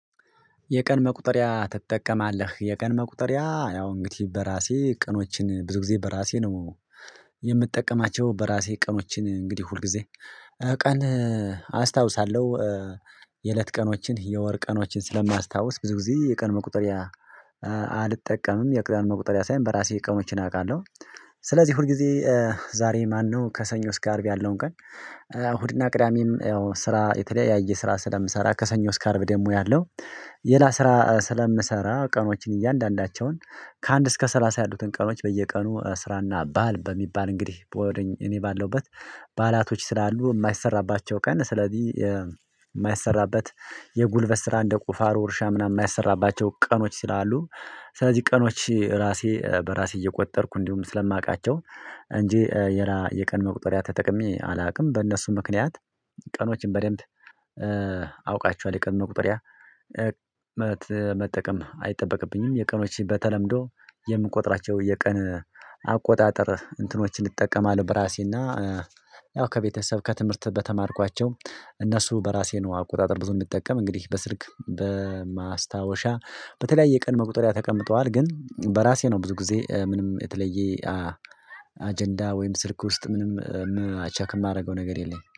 "የቀን መቁጠሪያ ትጠቀማለህ?" የቀን መቁጠሪያ ያው እንግዲህ በራሴ ቀኖችን ብዙ ጊዜ በራሴ ነው የምጠቀማቸው። በራሴ ቀኖችን እንግዲህ ሁልጊዜ ቀን አስታውሳለሁ የእለት ቀኖችን የወር ቀኖችን ስለማያስታውስ ብዙ ጊዜ የቀን መቁጠሪያ አልጠቀምም የቀን መቁጠሪያ ሳይሆን በራሴ ቀኖችን አውቃለሁ። ስለዚህ ሁል ጊዜ ዛሬ ማነው ከሰኞ እስከ አርብ ያለውን ቀን እሁድና ቅዳሜም ያው ስራ የተለያየ ስራ ስለምሰራ ከሰኞ እስከ አርብ ደግሞ ያለው ሌላ ስራ ስለምሰራ ቀኖችን እያንዳንዳቸውን ከአንድ እስከ ሰላሳ ያሉትን ቀኖች በየቀኑ ስራና ባል በሚባል እንግዲህ በሆደኝ እኔ ባለሁበት በዓላቶች ስላሉ የማይሰራባቸው ቀን ስለዚህ የማይሰራበት የጉልበት ስራ እንደ ቁፋሮ እርሻ ምናምን የማይሰራባቸው ቀኖች ስላሉ ስለዚህ ቀኖች ራሴ በራሴ እየቆጠርኩ እንዲሁም ስለማውቃቸው እንጂ ሌላ የቀን መቁጠሪያ ተጠቅሜ አላውቅም። በእነሱ ምክንያት ቀኖችን በደንብ አውቃቸዋለሁ የቀን መቁጠሪያ መጠቀም አይጠበቅብኝም። የቀኖችን በተለምዶ የምቆጥራቸው የቀን አቆጣጠር እንትኖችን እጠቀማለሁ፤ በራሴና ያው ከቤተሰብ ከትምህርት በተማርኳቸው እነሱ በራሴ ነው አቆጣጠር ብዙ እንድጠቀም እንግዲህ በስልክ በማስታወሻ በተለያየ ቀን መቁጠሪያ ተቀምጠዋል። ግን በራሴ ነው ብዙ ጊዜ ምንም የተለየ አጀንዳ ወይም ስልክ ውስጥ ምንም ቼክ የማደርገው ነገር የለኝም።